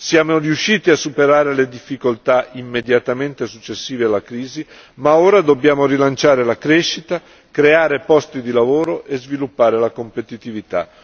Siamo riusciti a superare le difficoltà immediatamente successive alla crisi, ma ora dobbiamo rilanciare la crescita, creare posti di lavoro e sviluppare la competitività.